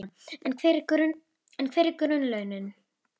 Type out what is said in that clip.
Og við þurfum að gera upp búreikningana!